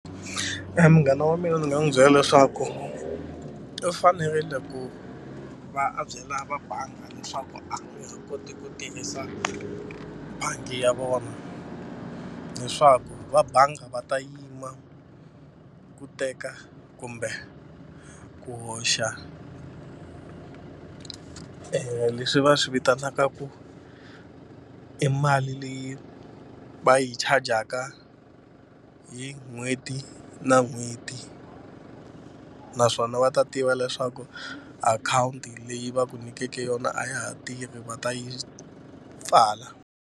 Munghana wa mina ni nga n'wi byela leswaku u fanerile ku va a byela va bangi leswaku a nge he koti ku tirhisa bangi ya vona leswaku va bangi va ta yima ku teka kumbe ku hoxa leswi va swi vitanaka ku i mali leyi va yi chajaka hi n'hweti na n'hweti naswona va ta tiva leswaku akhawunti leyi va ku nyikeke yona a ya ha tirhi va ta yi pfala.